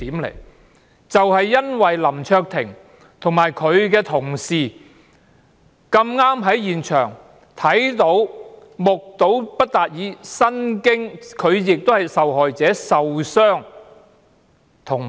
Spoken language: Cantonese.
林卓廷議員和他的同事恰巧在現場目睹及親歷其境，他們亦是受害者，並受了傷。